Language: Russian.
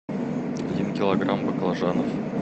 один килограмм баклажанов